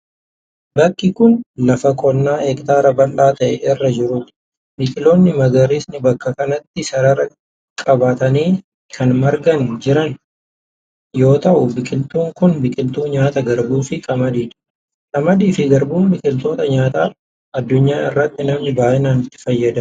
Bakki kun, lafa qonnaa hektaara bal'aa ta'e irra jiruu dha. Biqiloonni magariisni bakka kanatti sarara qabatanii kan marganii jiran yoo ta'u, biqiltuun kun biqiltuu nyaataa garbuu fi qamadii dha. Qamadii fi garbuun biqiloota nyaataa addunyaa irratti namni baay'inaan itti fayyadamuu dha.